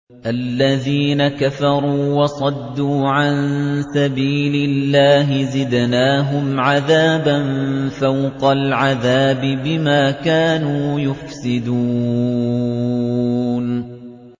الَّذِينَ كَفَرُوا وَصَدُّوا عَن سَبِيلِ اللَّهِ زِدْنَاهُمْ عَذَابًا فَوْقَ الْعَذَابِ بِمَا كَانُوا يُفْسِدُونَ